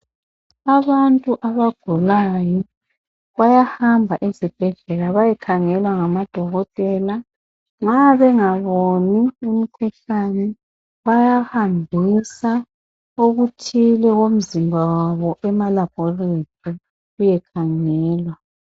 Abantu abagulayo bayahamba ezibhedlela bayekhangelwa ngadokotela. Nxa bengaboni umkhuhlane, bayahambisa okuthile komzimba wabo, emaLaboratory, kuyekhangelwa.